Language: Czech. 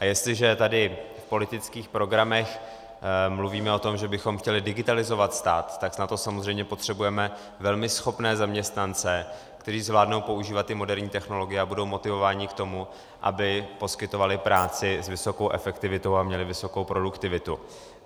A jestliže tady v politických programech mluvíme o tom, že bychom chtěli digitalizovat stát, tak na to samozřejmě potřebujeme velmi schopné zaměstnance, kteří zvládnou používat i moderní technologie a budou motivováni k tomu, aby poskytovali práci s vysokou efektivitou a měli vysokou produktivitu.